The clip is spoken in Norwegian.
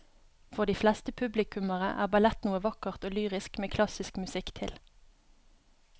For de fleste publikummere er ballett noe vakkert og lyrisk med klassisk musikk til.